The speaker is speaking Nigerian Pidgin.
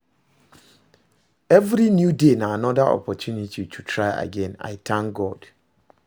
Evri new day na anoda opportunity to try again, I tank God